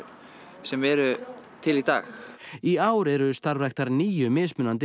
sem eru til í dag í ár eru starfræktar níu mismunandi